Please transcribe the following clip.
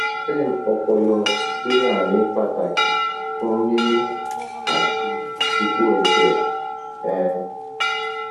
stem opolo gbe arin pataki fun mimi ati iyipo eje um